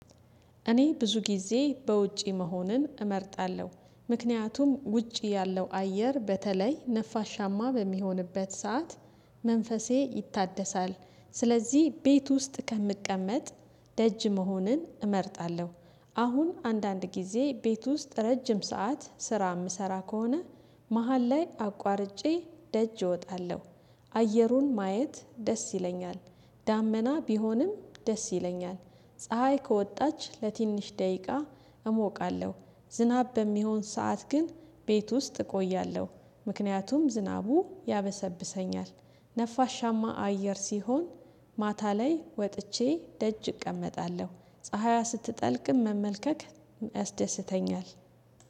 እኔ ብዙ ጊዜ በውጪ መሆንን እመርጣለሁ ምክንያቱም ውጪ ያለው አየር በተለይ ነፋሻማ በሚሆንበት ሰዓት መንፈሴ ይታደሳል። ስለዚህ ቤት ውስጥ ከምቀመጥ ደጅ መሆንን እመርጣለሁ። አሁን አንዳንድ ጊዜ ቤት ውስጥ ረጅም ሰዓት ስራ የምሰራ ከሆነ መሃል ላይ አቋርጬ ደጅ እወጣለሁ። አየሩን ማየት ደስ ይለኛል። ዳመና ቢሆንም ደስ ይለኛል ፀሀይ ከወጣች ለትንሽ ደቂቃ እሞቃለሁ። ዝናብ በሚሆን ሰዓት ግን ቤት ውስጥ እቆያለሁ። ምክንያቱም ዝናቡ ያበሰብሰኛል። ነፋሻማ አየር ሲሆን ማታ ላይ ወጥቼ ደጅ እቀመጣለሁ። ፀሀይ ስትጠልቅም መመልከት ያስደስተኛል